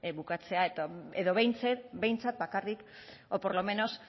bukatzea edo behintzat bakarrik o por lo menos